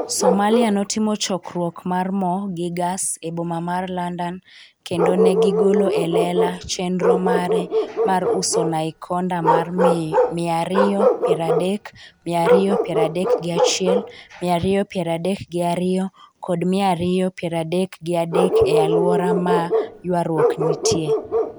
Somalia notimo chokruok mar mo gi gas e boma mar London kendo ne gigolo e lela chenro mare mar uso naikonda mar miya ariyo piero adek, miya ariyo piero adek gi achiel, miya ariyo piero adek gi ariyo kod miya ariyo piero adek gi adek e aluora ma ywarruok nitie.